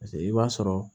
paseke i b'a sɔrɔ